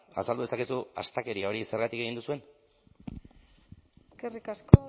azaldu dezakezu astakeria hori zergatik egin duzuen eskerrik asko